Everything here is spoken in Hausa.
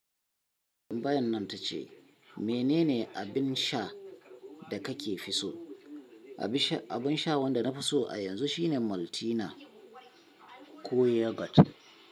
Tambayar nan ta ce mene ne abin sha da kake fi so? Abin sha wanda na fi so a yanzu shine Maltina ko Yogurt.